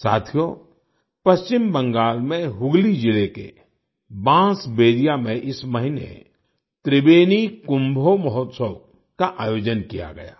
साथियो पश्चिम बंगाल में हुगली जिले के बांसबेरिया में इस महीने त्रिबेनी कुम्भो मोहोत्शौव का आयोजन किया गया